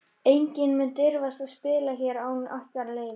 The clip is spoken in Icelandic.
Enginn mun dirfast að spila hér án ykkar leyfis.